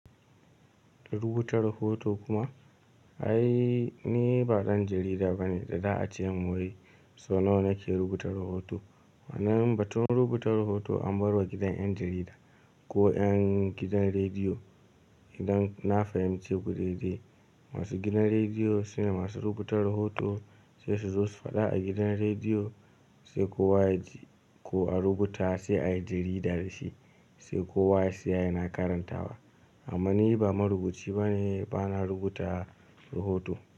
Rubuta rahoto kuma? Ai ni ba ɗan jarida bane, da da acemin wai so nawa nake rubuta rahoto. Wannan batun rubuta rahoto an barwa gidan ƴan jarida, ko ƴan gidan rediyo, idan na fahimce ku daidai, masu gidan rediyo sune masu rubuta rahoto, sai su zo su faɗa a gidan rediyo, sai kowa ya ji ko a rubuta sai a yi jarida da shi, sai kowa ya siya yana karantawa. Amma ni ba marubuci bane, bana rubuta rahoto.